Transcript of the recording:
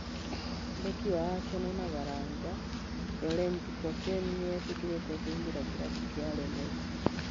Mbeki wa Aseno na Baranja Rorent Koseni nĩ etĩkĩrĩte kũingĩra kĩrabu kĩa Renesi.